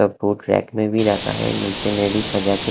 सब boat rack में भी रखा है नीचे में भी सजा के--